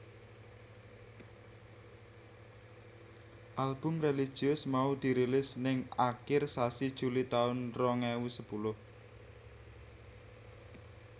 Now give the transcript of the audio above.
Album religius mau dirilis ning akir sasi Juli taun rong ewu sepuluh